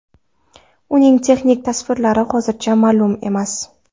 Uning texnik tavsiflari hozircha ma’lum emas.